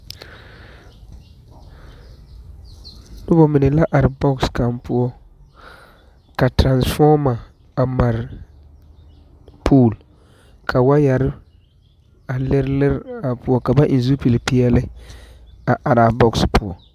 Nobɔ mine la are bɔgs kaŋ poɔ ka toraŋfɔɔma a mare pool kaŋa poɔ ka waayɛre lirelire o poɔ ka ba eŋ zupili peɛli araa bɔgs poɔ.